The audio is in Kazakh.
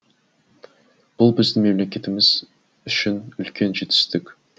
бұл біздің мемлекетіміз үшін үлкен жетістік